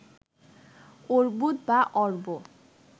অর্বুদ বা অর্ব